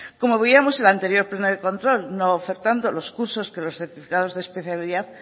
como veíamos en el anterior pleno de control no ofertando los cursos que los certificados de especiales